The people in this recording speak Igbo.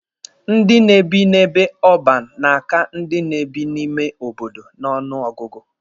Ndị na-ebi n'ebe ọban na-aka ndị na-ebi n'ime obodo n'ọnụ ọgụgụ.